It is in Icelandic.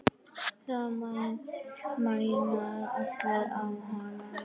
Það mæna allir á hana.